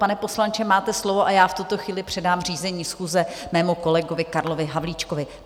Pane poslanče, máte slovo, a já v tuto chvíli předám řízení schůze svému kolegovi Karlu Havlíčkovi.